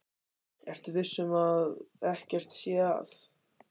Ertu viss um að ekkert sé að?